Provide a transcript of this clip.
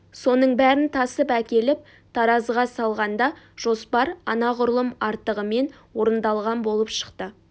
соның бәрін тасып әкеліп таразыға салғанда жоспар анағұрлым артығымен орындалған болып шықты